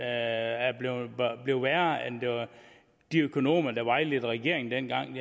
er blevet værre end hvad de økonomer der vejledte regeringen dengang